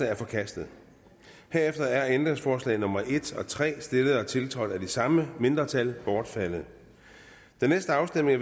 er forkastet herefter er ændringsforslag nummer en og tre stillet og tiltrådt af de samme mindretal bortfaldet den næste afstemning